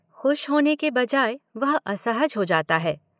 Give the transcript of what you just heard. खुश होने के बजाय वह असहज हो जाता है।